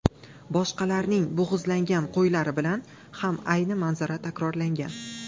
Boshqalarning bo‘g‘izlangan qo‘ylari bilan ham ayni manzara takrorlangan.